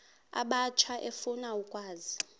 abatsha efuna ukwazi